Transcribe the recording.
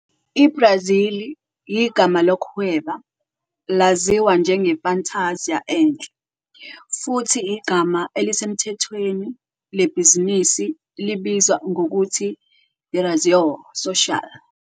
IBrazili, igama lokuhweba laziwa njenge-fantasia enhle, futhi igama elisemthethweni lebhizinisi libizwa ngokuthi i-razão social.